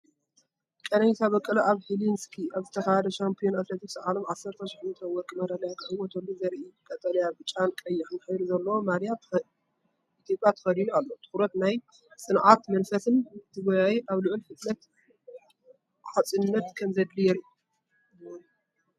ቀነኒሳ በቀለ ኣብ ሄልሲንኪ ኣብ ዝተኻየደ ሻምፕዮን ኣትሌቲክስ ዓለም 10,000 ሜትሮ ወርቂ መዳልያ ክዕወተሉ ዘርኢእዩ። ቀጠልያ፣ ብጫን ቀይሕን ሕብሪ ዘለዎ ማልያ ኢትዮጵያ ተኸዲኑ ኣሎ፣ ትኹረትን ናይ ጽንዓት መንፈስን፣ እቲ ጎያዪ ኣብ ልዑል ፍጥነትን ጸዓትን ከም ዘድሊ የርኢ፡፡